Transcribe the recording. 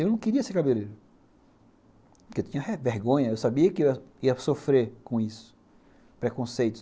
Eu não queria ser cabeleireiro, porque eu tinha vergonha, eu sabia que eu ia ia sofrer com isso, preconceitos.